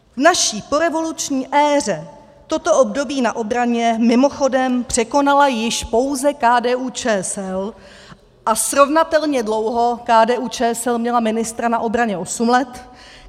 V naší porevoluční éře toto období na obraně mimochodem překonala již pouze KDU-ČSL a srovnatelně dlouho KDU-ČSL měla ministra na obraně osm let.